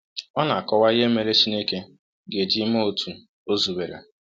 Ọ na-akọwa ihe mere Chineke ga-eji mee otú o zubere.